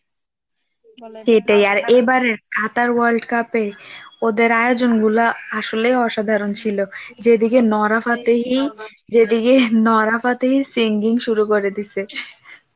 এবারের Qatar world cup এ ওদের আয়োজনগুলো আসলে অসাধারণ ছিল যেদিকে যেদিকে নোরাফতেহি সিঙ্গিং শুরু করে দিছে